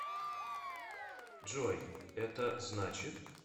джой это значит